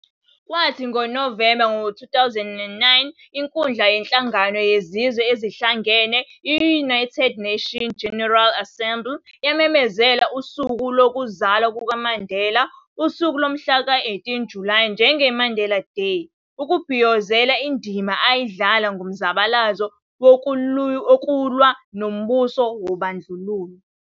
Kwathi ngoNovemba 2009, inkundla yenhlangano yezizwe ezihlangane i-United Nations General Assembly yamemezela usuku lokuzalwa kukaMandela, usuku lomhla ka 18 Julayi njenge-Mandela Day", ukubhiyozela indima ayidlala kumzabalazo wokulwa nombuso wobandlululo.